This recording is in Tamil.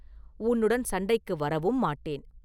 உன்னுடன் சண்டைக்கு வரவும் மாட்டேன்.